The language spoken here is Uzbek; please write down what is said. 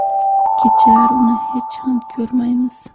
Kechalari uni hech ham ko‘rmaymiz.